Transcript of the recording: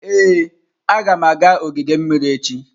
Ee, agam aga ogige mmiri echi.